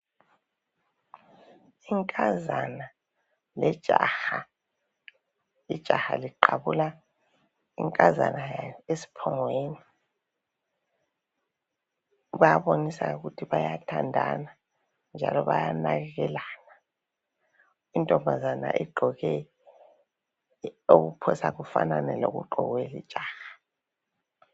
Inkazana lejaha, ijaha liqabula inkazana yalo esiphongweni. Bayabonisa ukuthi bayathandana njalo bayanakekelana, intombazana igqoke okuphosa kufanane lokugqokwe lijaha.